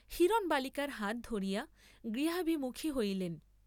হিরণ বালিকার হাত ধরিয়া গৃহাভিমুখী হইলেন।